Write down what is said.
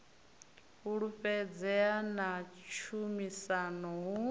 fhulufhedzea na tshumisano hu si